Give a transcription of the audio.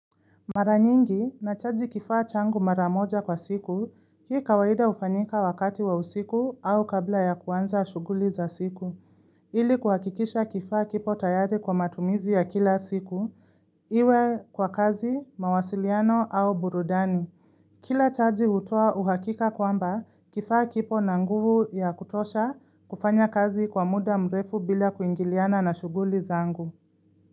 Mara nyingi nachaji kifaa changu mara moja kwa siku, hii kawaida hufanyika wakati wa usiku au kabla ya kuanza shuguli za siku. Ili kuhakikisha kifaa kipo tayari kwa matumizi ya kila siku, iwe kwa kazi, mawasiliano au burudani. Kila chaji hutoa uhakika kwamba kifaa kipo na nguvu ya kutosha kufanya kazi kwa muda mrefu bila kuingiliana na shuguli za angu.